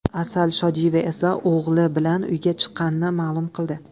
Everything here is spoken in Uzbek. Asal Shodiyeva esa o‘g‘li bilan uyga chiqqanini ma’lum qildi.